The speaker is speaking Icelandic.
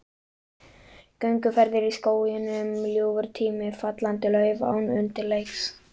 Gönguferðir í skóginum, ljúfur tími, fallandi lauf án undirleiks.